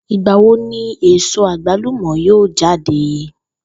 Ìgbà wo ni èso àgbàlùmò̩ yóò j́áde?